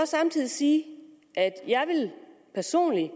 samtidig sige at jeg personligt